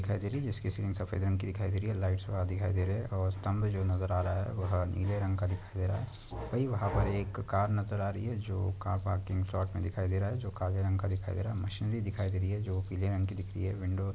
दिखाई दे रही जिसकी सफ़ेद रंग की दिखाई दे रही है। लाईट्स और दिखाई दे रहे है और स्तंभ जो नजर आ रहा है वह नीले रंग का दिखाई दे रहा है। वही वहाँ पर एक कार नजर आ रही है जो कार पार्किंग स्लॉट मे दिखाई दे रहा है। जो काले रंग का दिखाई दे रहा है। मशिने दिखाई दे रही है जो पीले रंग की दिख रही है विंडो --